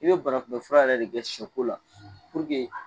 I be bana kun bɛ fura yɛrɛ de kɛ sɛ ko la